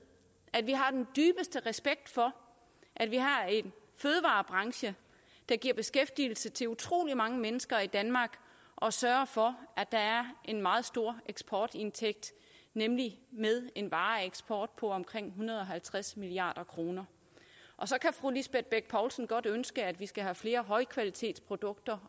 at vi har den dybeste respekt for at vi har en fødevarebranche der giver beskæftigelse til utrolig mange mennesker i danmark og sørger for at der er en meget stor eksportindtægt nemlig med en vareeksport på omkring en hundrede og halvtreds milliard kr så kan fru lisbeth bech poulsen godt ønske at vi skal have flere højkvalitetsprodukter